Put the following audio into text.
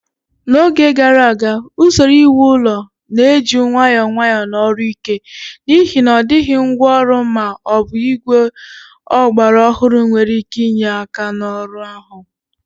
N'oge gara aga, usoro iwu ụlọ na-eji nwayọọ nwayọọ na ọrụ ike, n'ihi na ọ dịghị ngwa ọrụ ma ọ bụ igwe ọgbara ọhụrụ nwere ike inye aka n'ọrụ ahụ.